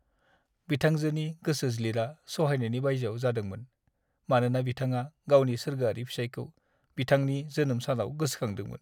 बिथांजोनि गोसोज्लिरा सहायनायनि बायजोआव जादोंमोन, मानोना बिथांआ गावनि सोरगोआरि फिसाइखौ बिथांनि जोनोम सानाव गोसोखांदोंमोन।